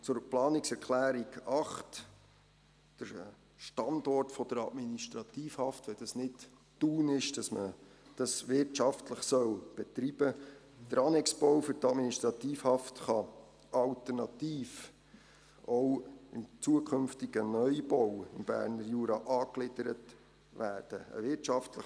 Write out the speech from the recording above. Zur Planungserklärung 8, dem Standort für die Administrativhaft, wenn es nicht Thun ist, und dass man dies wirtschaftlich betrieben soll: Der Annexbau für die Administrativhaft kann alternativ auch dem zukünftigen Neubau im Berner Jura angegliedert werden.